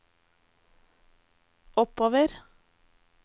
oppover